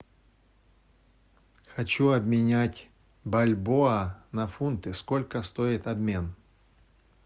хочу обменять бальбоа на фунты сколько стоит обмен